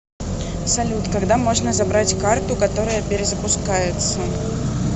салют когда можно забрать карту которая перезапускается